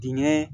Dingɛ